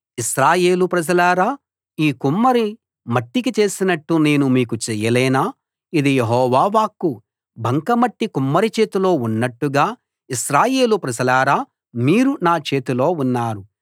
ఇశ్రాయేలు ప్రజలారా ఈ కుమ్మరి మట్టికి చేసినట్టు నేను మీకు చేయలేనా ఇది యెహోవా వాక్కు బంక మట్టి కుమ్మరి చేతిలో ఉన్నట్టుగా ఇశ్రాయేలు ప్రజలారా మీరు నా చేతిలో ఉన్నారు